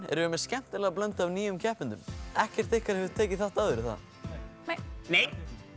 erum við með skemmtilega blöndu af nýjum keppendum ekkert ykkar hefur tekið þátt áður er það nei nei